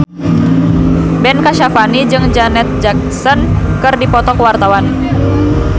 Ben Kasyafani jeung Janet Jackson keur dipoto ku wartawan